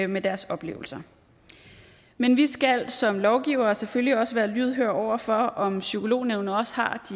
med deres oplevelser men vi skal som lovgivere selvfølgelig også være lydhøre over for om psykolognævnet har